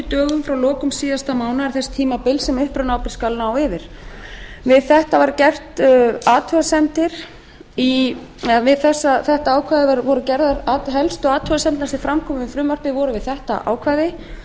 dögum frá lokum síðasta mánaðar þess tímabils sem upprunaábyrgð skal ná yfir við þetta ákvæði voru gerðar helstu athugasemdirnar sem fram komu í frumvarpinu voru við þetta ákvæði